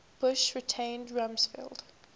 bush retained rumsfeld